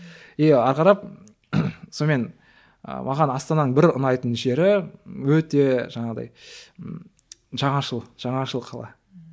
и ары қарап сонымен і маған астананың бір ұнайтын жері өте жаңағыдай ы жаңашыл жаңашыл қала ммм